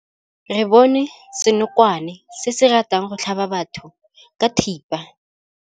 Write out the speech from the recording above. Re bone senokwane se se ratang go tlhaba batho ka thipa.